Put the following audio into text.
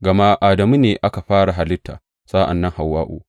Gama Adamu ne aka fara halitta, sa’an nan Hawwa’u.